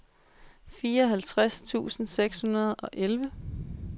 fireoghalvtreds tusind seks hundrede og elleve